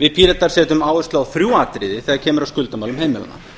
við píratar setjum áherslu á þrjú atriði þegar kemur að skuldamálum heimilanna